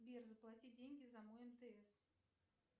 сбер заплати деньги за мой мтс